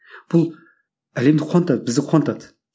бұл әлемді қуантады бізді қуантады